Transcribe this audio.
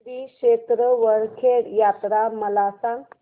श्री क्षेत्र वरखेड यात्रा मला सांग